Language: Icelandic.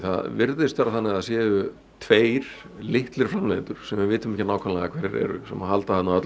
virðist vera þannig að það séu tveir litlir framleiðendur sem við vitum ekki nákvæmlega hverjir eru sem að halda